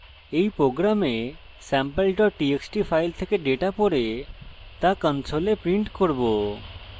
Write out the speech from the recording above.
in program sample txt file থেকে data পড়ে data console print করব